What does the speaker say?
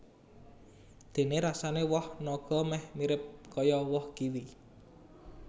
Déné rasané woh naga méh mirip kaya woh kiwi